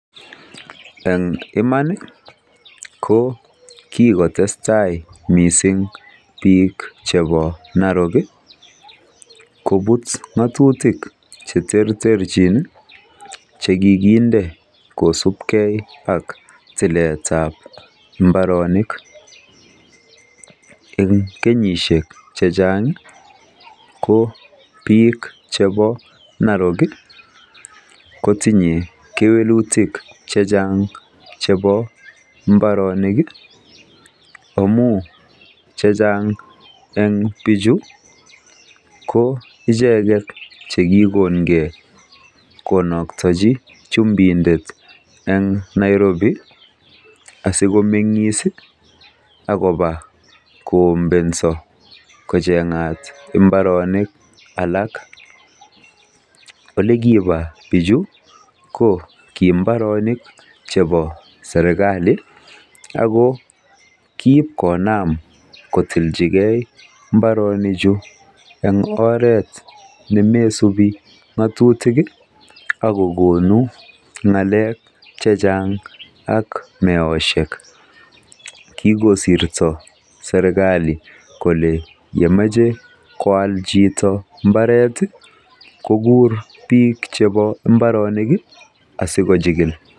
Eng iman ko kikotestai mising biik chebo Narok koput ng'atutik cheterterchin che kikinde kosupgei ak tiletab mbaoanik. Eng kenyishek che chang ko biik chebo Narok kotinyei kewelutik chechang chebo mbaronik amu chechang eng biichu ko icheket che kikongei konoktechi chumbindet en Nairobi asikomeng'is ako ombenso kocheng'at mbaronik alak. Olekipa biichu ko kii mbarenik chebo serkali ako kiip konam kotilchigei mbaronichu eng oret ne mesupi ng'atutik ak kokonu ng'al chechang akokonu meoshek. Kikosirto serkali kole yemachei koal chito mbaret kogur biik chebo mbaronik asi kochikil.